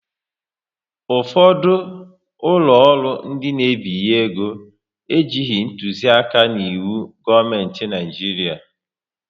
Ụfọdụ ụlọ ọrụ ndị n'ebinye ego ejighị ntuzi aka n'iwu gọọmenti Naijiria